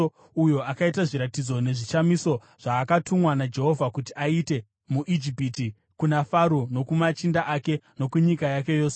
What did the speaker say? uyo akaita zviratidzo nezvishamiso zvaakatumwa naJehovha kuti aite muIjipiti, kuna Faro nokumachinda ake nokunyika yake yose.